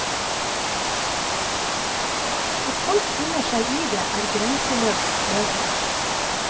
At folk finner seg i det, er grenseløs sløvhet.